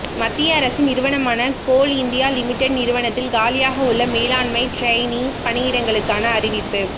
மத்திய அரசின் நிறுவனமான கோல் இந்தியா லிமிடெட் நிறுவனத்தில் காலியாக உள்ள மேலாண்மை டிரெய்னி பணியிடங்களுக்கான அறிவிப்பு